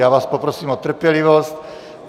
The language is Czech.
Já vás poprosím o trpělivost.